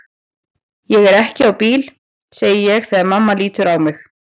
Ég er ekki á bíl, segi ég þegar mamma lítur á mig.